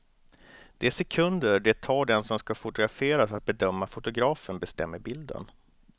De sekunder det tar den som ska fotograferas att bedöma fotografen bestämmer bilden.